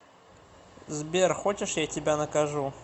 сбер хочешь я тебя накажу